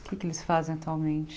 O que é que eles fazem atualmente?